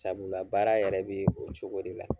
Sabula baara yɛrɛ bee o cogo de la.